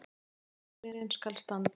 Þátturinn skal standa